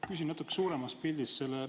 Ma küsin natuke suuremas pildis.